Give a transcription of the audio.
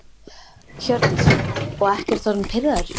Hjördís: Og ekkert orðinn pirraður?